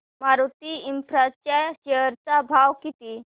Maruti Infra च्या share चा भाव किती